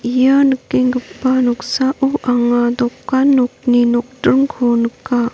ia nikenggipa noksao anga dokan nokni nokdringko nika.